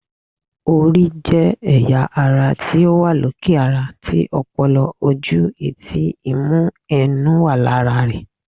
Orí jẹ́ ẹ̀yà ara ti ó wà lókè ara tí, ọpọlọ, ojú, etí, imú àti ẹnu wà lára ẹ̀